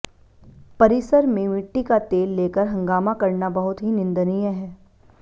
परिसर में मिट्टी का तेल लेकर हंगामा करना बहुत ही निंदनीय है